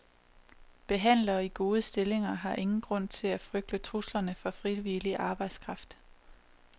Behandlere i gode stillinger har ingen grund til at frygte truslerne fra frivillig arbejdskraft.